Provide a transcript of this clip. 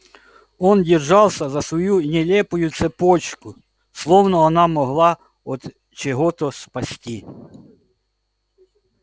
он держался за свою нелепую цепочку словно она могла от чего-то спасти